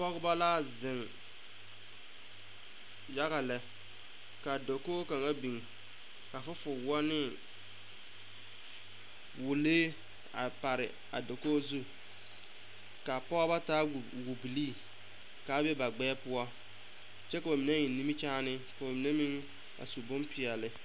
Pɔgeba la zeŋ yaga lɛ ka dakogi kaŋa biŋ fufuliwoɔ ne wirilee a pare a dakogi zu ka a pɔgeba taa wobwobilii ka a be ba gbɛɛ poɔ kyɛ k'o mine eŋ nimikyaani k'o mine meŋ su bompeɛle.